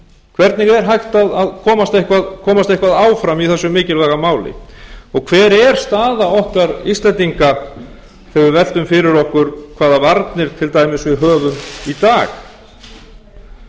hvernig er hægt að komast eitthvað áfram í þessu mikilvæga máli og hver er staða okkar íslendinga þegar við veltum fyrir okkur hvaða varnir til dæmis við höfum í dag